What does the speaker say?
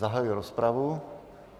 Zahajuji rozpravu.